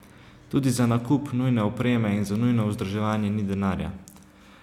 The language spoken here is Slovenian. Tudi za nakup nujne opreme in za nujno vzdrževanje ni denarja.